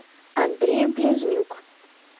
андрей близнюк